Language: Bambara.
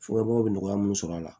Fɔ aw bɛ nɔgɔya mun sɔrɔ a la